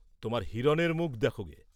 তোমার হিরণের মুখ দেখগে।